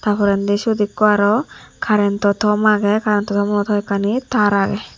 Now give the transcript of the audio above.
tar porendi sot ekko aro karento tom agey karento tommo hoyekkani tar agey.